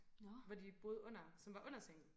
Hvor de boede under som var under sengen